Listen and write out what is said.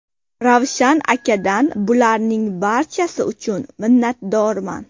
Ravshan akadan bularning barchasi uchun minnatdorman.